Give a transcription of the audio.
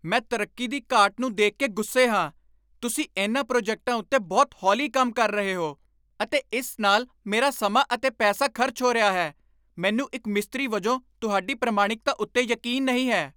ਮੈਂ ਤਰੱਕੀ ਦੀ ਘਾਟ ਨੂੰ ਦੇਖ ਕੇ ਗੁੱਸੇ ਹਾਂ। ਤੁਸੀਂ ਇਨ੍ਹਾਂ ਪ੍ਰੋਜੈਕਟਾਂ ਉੱਤੇ ਬਹੁਤ ਹੌਲੀ ਕੰਮ ਕਰ ਰਹੇ ਹੋ ਅਤੇ ਇਸ ਨਾਲ ਮੇਰਾ ਸਮਾਂ ਅਤੇ ਪੈਸਾ ਖਰਚ ਹੋ ਰਿਹਾ ਹੈ, ਮੈਨੂੰ ਇੱਕ ਮਿਸਤਰੀ ਵਜੋਂ ਤੁਹਾਡੀ ਪ੍ਰਮਾਣਿਕਤਾ ਉੱਤੇ ਯਕੀਨ ਨਹੀਂ ਹੈ।